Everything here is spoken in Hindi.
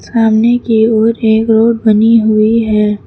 सामने की ओर एक रोड बनी हुई है।